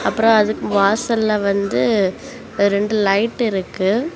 அப்புற அதுக்கு வாசலெ வந்து ரெண்டு லைட் இருக்கு.